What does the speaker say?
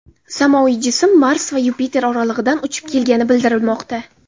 Samoviy jism Mars va Yupiter oralig‘idan uchib kelgani bildirilmoqda.